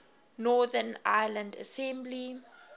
northern ireland assembly